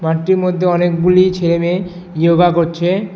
মাঠটির মধ্যে অনেকগুলি ছেলে মেয়ে য়োগা করছে।